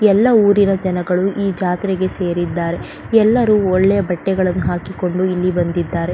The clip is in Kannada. ಎಲ್ಲ ಊರಿನ ಜನಗಳು ಈ ಜಾತ್ರೆಗೆ ಸೇರಿದ್ದಾರೆ ಎಲ್ಲರು ಒಳ್ಳೆ ಬಟ್ಟೆಗಳನ್ನು ಹಾಕಿಕೊಂಡು ಇಲ್ಲಿ ಬಂದಿದ್ದಾರೆ.